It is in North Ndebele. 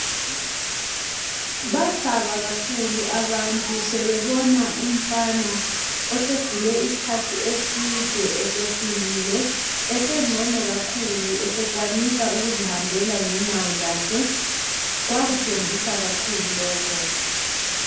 Bathaba kakhulu abantu sebebona umfana osegule isikhathi eside esesilile esengcono kakhulu esekwanisa ukuzihambela ngenyawo zakhe. Kwakuthembisa kakhulu lokho.